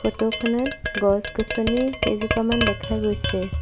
Photo খনত গছ গছনি কেইজোপামান দেখা গৈছে।